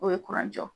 O ye kuran jɔ